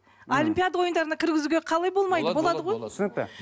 олимпиада ойындарына кіргізуге қалай болмайды болады ғой түсінікті